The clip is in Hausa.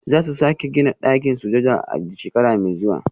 Za su sake gina ɗakin sujada a shekara mai zuwa